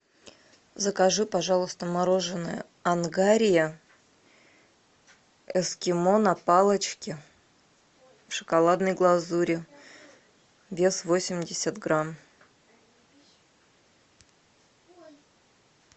закажи пожалуйста мороженое ангария эскимо на палочке в шоколадной глазури вес восемьдесят грамм